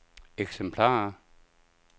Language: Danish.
eksemplarer